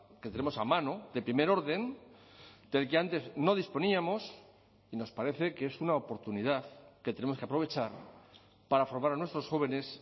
que tenemos a mano de primer orden del que antes no disponíamos y nos parece que es una oportunidad que tenemos que aprovechar para formar a nuestros jóvenes